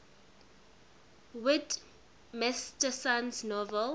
whit masterson's novel